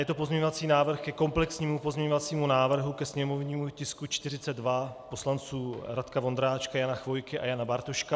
Je to pozměňovací návrh ke komplexnímu pozměňovacímu návrhu, ke sněmovnímu tisku 42 poslanců Radka Vondráčka, Jana Chvojky a Jana Bartoška.